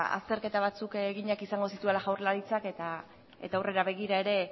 azterketa batzuk eginak izango zituela jaurlaritzak eta aurrera begira ere